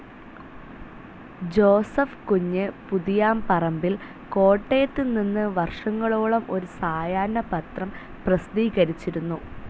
Joseph Kunju Puthiyaparambil കോട്ടയത്തുനിന്ന് വർഷങ്ങളോളം ഒരു സായാഹ്ന പത്രം പ്രസിദ്ധീകരിച്ചിരുന്നു.